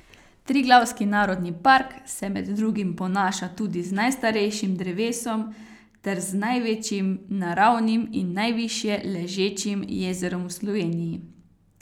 Triglavski narodni park se med drugim ponaša tudi z najstarejšim drevesom ter z največjim naravnim in najvišje ležečim jezerom v Sloveniji.